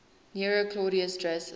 nero claudius drusus